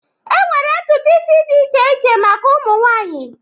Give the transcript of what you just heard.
enwere ntutu isi dị iche iche maka ụmụ nwanyị